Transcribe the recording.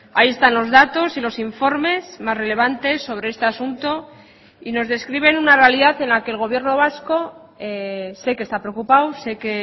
ahí están los datos y los informes más relevantes sobre este asunto y nos describen una realidad en la que el gobierno vasco sé que está preocupado sé que